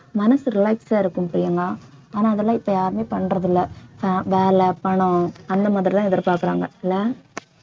மனசு relax ஆ இருக்கும் பிரியங்கா ஆனா அதெல்லாம் இப்ப யாருமே பண்றது இல்லை அஹ் வேலை பணம் அந்த மாதிரிதான் எதிர்பார்க்கிறாங்க இல்ல